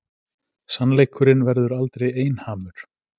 Sannleikurinn verður aldrei einhamur.